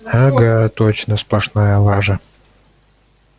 ага точно сплошная лажа